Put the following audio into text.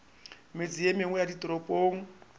metse ye mengwe ya ditoropong